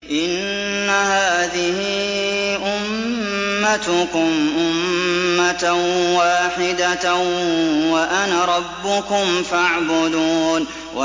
إِنَّ هَٰذِهِ أُمَّتُكُمْ أُمَّةً وَاحِدَةً وَأَنَا رَبُّكُمْ فَاعْبُدُونِ